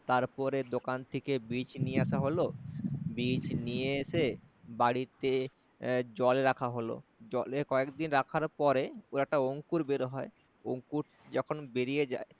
তার পরে দোকান থেকে বীজ নিয়ে আসা হলো, বীজ নিয়ে এসে বাড়িতে জলে রাখা হলো। জলে কয়েক দিন রাখার পরে পুরাটা অঙ্কুর বের হয়। অঙ্কুর যখন বেরিয়ে যায়